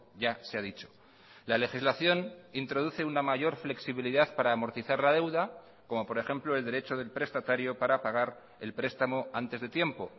ya se ha dicho la legislación introduce una mayor flexibilidad para amortizar la deuda como por ejemplo el derecho del prestatario para pagar el prestamo antes de tiempo